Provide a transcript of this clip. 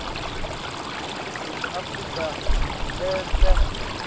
ningizimu afrika lenhle